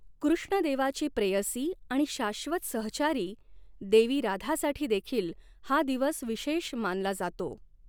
कृष्ण देवाची प्रेयसी आणि शाश्वत सहचारी, देवी राधासाठी देखील हा दिवस विशेष मानला जातो.